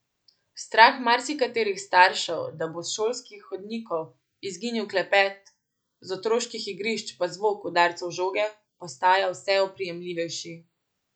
Strah marsikaterih staršev, da bo s šolskih hodnikov izginil klepet, z otroških igrišč pa zvok udarcev žoge, postaja vse oprijemljivejši.